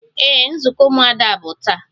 Ee, nzukọ umuada bụ taa